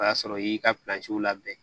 O y'a sɔrɔ i y'i ka labɛn